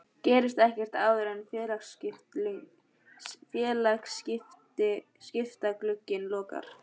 Gerist ekkert áður en félagaskiptaglugginn lokar?